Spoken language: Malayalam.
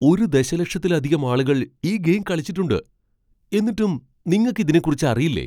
ഒരു ദശലക്ഷത്തിലധികം ആളുകൾ ഈ ഗെയിം കളിച്ചിട്ടുണ്ട്. എന്നിട്ടും നിങ്ങക്ക് ഇതിനെക്കുറിച്ച് അറിയില്ലേ ?